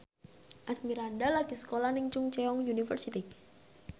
Asmirandah lagi sekolah nang Chungceong University